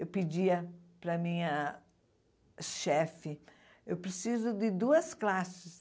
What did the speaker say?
Eu pedia para minha chefe, eu preciso de duas classes.